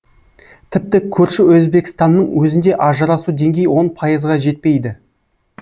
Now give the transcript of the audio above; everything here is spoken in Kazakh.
тіпті көрші өзбекстанның өзінде ажырасу деңгейі он пайызға жетпейді